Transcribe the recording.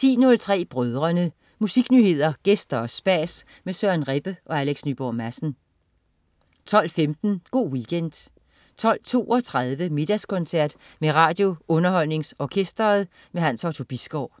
10.03 Brødrene. Musiknyheder, gæster og spas med Søren Rebbe og Alex Nyborg Madsen 12.15 Go' Weekend 12.32 Middagskoncert med RadioUnderholdningsOrkestret. Hans Otto Bisgaard